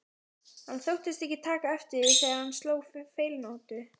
Hann þóttist ekki taka eftir því þegar hann sló feilnótu.